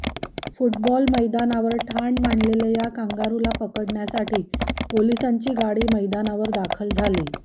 football मैदानावर ठाण मांडलेल्या या कांगारुला पकडण्यासाठी पोलीसांची गाडी मैदानावर दाखल झाली